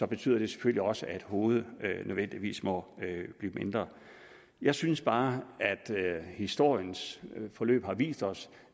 betyder det selvfølgelig også at hovedet nødvendigvis må blive mindre jeg synes bare at historiens forløb har vist os